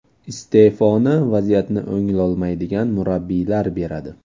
Iste’foni vaziyatni o‘nglolmaydigan murabbiylar beradi.